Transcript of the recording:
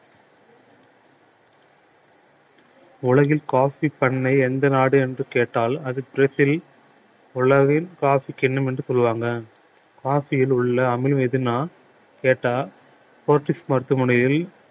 உலகில் coffee பண்ணை எந்த நாடு என்று கேட்டால் அது பிரேசில் உலகில் coffee கிண்ணம் என்று சொல்லுவாங்க coffee யில் உள்ள அமிலம் எதுண்ணா கேட்டால் போர்ச்சுகீஸ் மருத்துவமனையில்